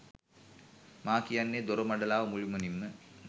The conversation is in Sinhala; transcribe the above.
මා කියන්නේ දොරමඩලාව මුළුමනින්ම